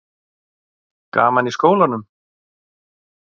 Gaman í skólanum?